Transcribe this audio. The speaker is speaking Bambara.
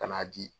Ka n'a di